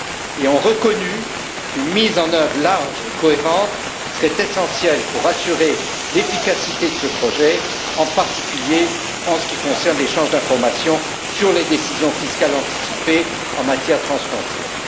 Ils ont reconnu qu'une mise en œuvre large et cohérente serait essentielle pour assurer l'efficacité de ce projet, en particulier en ce qui concerne l'échange d'informations sur les décisions fiscales anticipées en matière transfrontière.